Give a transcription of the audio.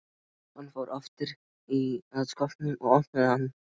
Hann fór aftur að skápnum og opnaði hann.